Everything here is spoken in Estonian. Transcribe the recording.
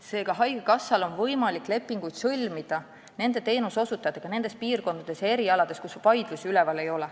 Seega, haigekassal on võimalik lepinguid sõlmida nende teenuseosutajatega nendes piirkondades ja nende erialade puhul, kus vaidlusi üleval ei ole.